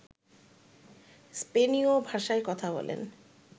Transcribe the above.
স্পেনীয় ভাষায় কথা বলেন